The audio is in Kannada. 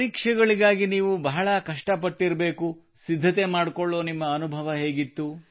ಪರೀಕ್ಷೆಗಳಿಗಾಗಿ ನೀವು ಬಹಳ ಕಷ್ಟಪಟ್ಟಿರಬೇಕು ಸಿದ್ಧತೆ ಮಾಡಿಕೊಳ್ಳುವ ನಿಮ್ಮ ಅನುಭವ ಹೇಗಿತ್ತು